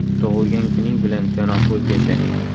Tug‘ilgan kuning bilan, janob O‘zgacha!